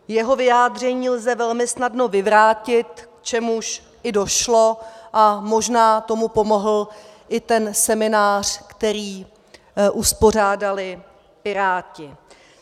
Jeho vyjádření lze velmi snadno vyvrátit, k čemuž i došlo, a možná tomu pomohl i ten seminář, který uspořádali Piráti.